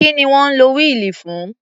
Kí ni wọ́n ń lo wíìlì fún?